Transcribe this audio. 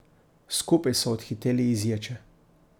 Skupaj so odhiteli iz ječe.